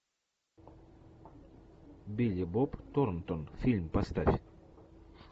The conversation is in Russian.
билли боб торнтон фильм поставь